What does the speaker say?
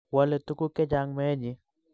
Wale tuguk chechang meenyi